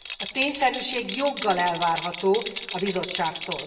A tényszerűség joggal elvárható a Bizottságtól.